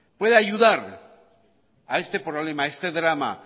pueda ayudar a este problema a este drama